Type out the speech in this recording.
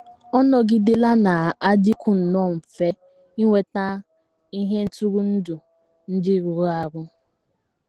Ọ nọgidela na - adịkwu nnọọ mfe inweta ihe ntụrụndụ ndị rụrụ arụ